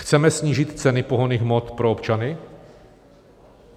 Chceme snížit ceny pohonných hmot pro občany?